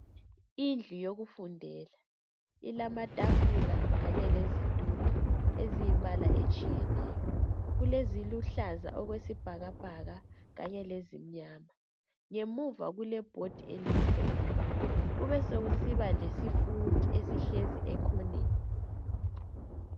Indlu yokufundela. Ilamatafula kanye lezitulo. Eziyimbala etshiyeneyo. Ezingumbala otshiyeneyo. Kuleziluhlaza okwesibhakabhaka kanye lezimnyama. Ngemuva kulebhodi elimhlophe. Kube sekusiba lesifundi esihlezi ekhoneni.